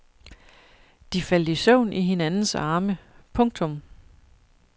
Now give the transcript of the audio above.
De faldt i søvn i hinandens arme. punktum